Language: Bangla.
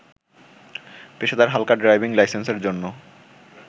পেশাদার হালকা ড্রাইভিং লাইসেন্সের জন্য